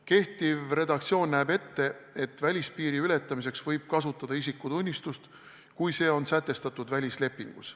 Kehtiv redaktsioon näeb ette, et välispiiri ületamiseks võib kasutada isikutunnistust, kui see on sätestatud välislepingus.